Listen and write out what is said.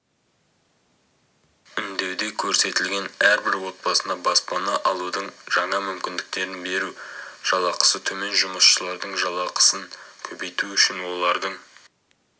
үндеуде көрсетілген әрбір отбасына баспана алудың жаңа мүмкіндіктерін беру жалақысы төмен жұмысшылардың жалақысын көбейту үшін олардың